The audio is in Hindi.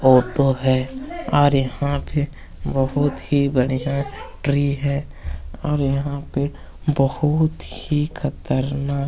फोटो है और यहाँ पे बहुत ही बढ़िया ट्री है और यहां पे बहुत ही खतरनाक--